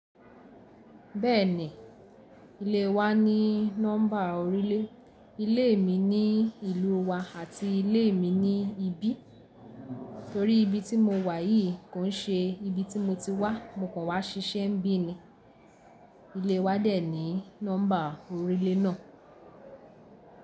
Bẹ́ẹ̀ni, ilé wa ní nọ́mbà orílẹ̀, ilé mi ní ìlú wa àti ilé mi ní ibí, torí ibi tí mo wà yìí kò n ṣe ibi tí mo ti wá, mo kàn wá ṣiṣẹ́ n bi ni. Ilé wa dẹ̀ ní nọ́mbà oríle náà.